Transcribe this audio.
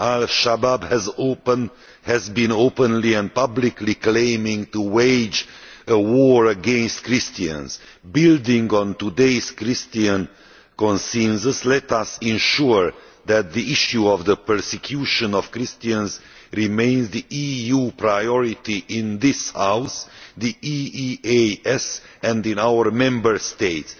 Al-Shabaab has been openly and publicly claiming to wage a war against Christians. Building on today's Christian consensus, let us ensure that the issue of the persecution of Christians remains the EU priority in this House, in the EEAS and in our Member States.